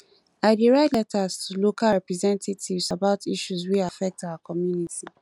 i dey write letters to local representatives about issues wey affect our community